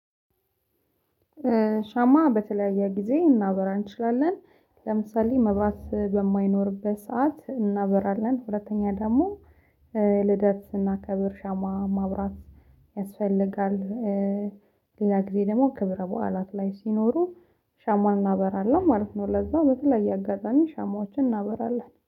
ሻማ በተለያየ ጊዜ እናበራ እንችላለን ለምሳሌ መብራት በማይኖርበት ሰዓት እናበራለን። ሁለተኛ ደግሞ ልደት ስናከብር ሻማ ማብራት ያስፈልጋል። ሌላ ጊዜ ደግሞ ክብረ በዓላት ላይ ሲኖሩ ሻማ እናበራለን ማለት ነው። ለዛ በተለየ አጋጣሚ ሻማዎችን እናበራለን